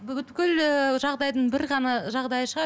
ііі жағдайдың бір ғана жағдайы шығар